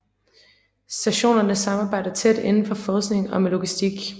Stationerne samarbejder tæt indenfor forskning og med logistik